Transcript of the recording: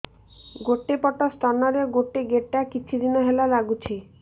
ଗୋଟେ ପଟ ସ୍ତନ ରେ ଗୋଟେ ଗେଟା କିଛି ଦିନ ହେଲା ଲାଗୁଛି